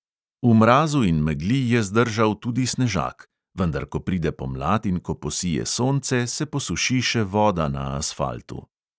V mrazu in megli je zdržal tudi snežak, vendar ko pride pomlad in ko posije sonce, se posuši še voda na asfaltu.